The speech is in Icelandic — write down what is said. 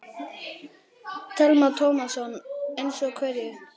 Telma Tómasson: Eins og hverju?